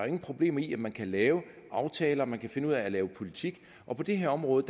ingen problemer i at man kan lave aftaler man kan finde ud af at lave politik og på det her område